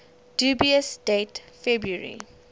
dubious date february